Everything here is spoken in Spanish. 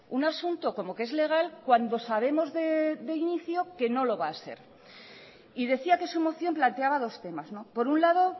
un asunto como que es legal cuando sabemos de inicio que no lo va a ser y decía que su moción planteaba dos temas por un lado